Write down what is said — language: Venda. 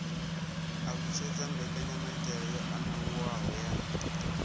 alutshedza mbekanyamaitele yo anavhuwaho ya